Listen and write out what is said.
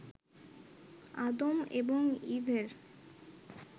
আদম এবং ঈভের